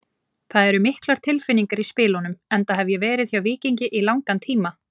Það eru miklar tilfinningar í spilunum enda hef ég verið hjá Víkingi í langan tíma.